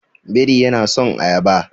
Biri yana son ayaba.